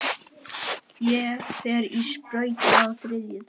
Ég fer í sprautu á þriðjudag.